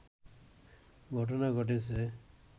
ঘটনা ঘটেছে